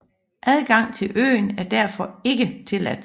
Adgang til øen er derfor ikke tilladt